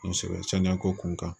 Kosɛbɛ saniya ko kun kan